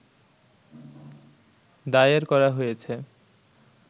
দায়ের করা হয়েছে